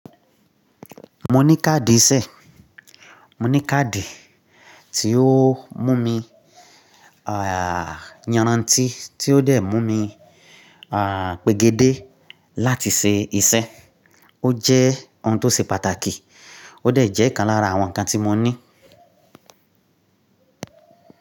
Mo ní káàdì ìṣe, mo ní káàdì tí ó mú mi, à, yanrantí tí ó dẹ̀ mú mi, à, pègédé láti ṣe iṣẹ́. Ó jẹ́ ohun tó ṣe pàtàkì, ó dẹ̀ jẹ́ ìkan lára àwọn nǹkan tí mo ní.